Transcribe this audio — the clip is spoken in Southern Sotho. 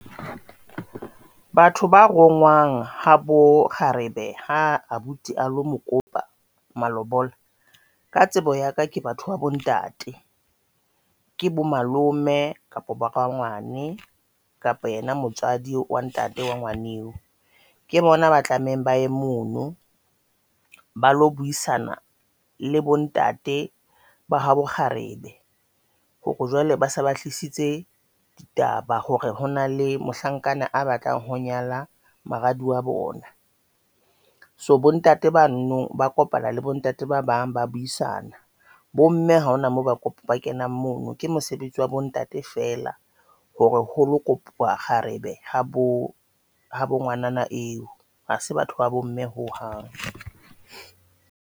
Batho ba rongwang habo kgarebe ha abuti a lo mokopa malobola ka tsebo ya ka ke batho ba bontate, ke bo malome kapa ba rangwane kapa ena motswadi wa ntate wa ke bona ba tlameheng ba e mono ba lo buisana le bontate ba habo kgarebe hore jwale base ba tlisitse ditaba hore hona le mohlankana a batlang ho nyala moradi wa bona. So bontate ba non Ba kopana le bontate ba bang ba buisana bomme ha hona moo ba ba kenang. Mono ke mosebetsi wa bontate fela, hore ho lo kopa kgarebe ha bo bo ngwanana eo hase batho ba bomme ho hang.